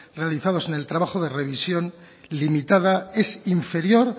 realizados en el trabajo de revisión limitada es inferior